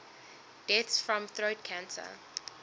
deaths from throat cancer